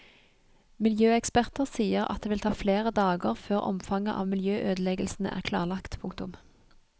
Miljøeksperter sier at det vil ta flere dager før omfanget av miljøødeleggelsene er klarlagt. punktum